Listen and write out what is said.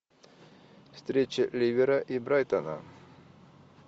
встреча ливера и брайтона